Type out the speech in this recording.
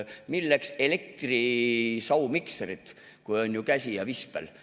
Milleks elektrimikserid, kui on käsi ja vispel?